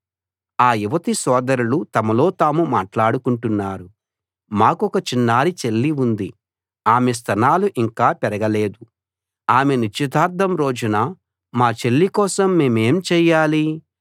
ఆ యువతి సోదరులు తమలో తాము మాట్లాడుకుంటున్నారు మాకొక చిన్నారి చెల్లి ఉంది ఆమె స్తనాలు ఇంకా పెరగలేదు ఆమె నిశ్చితార్థం రోజున మా చెల్లి కోసం మేమేం చెయ్యాలి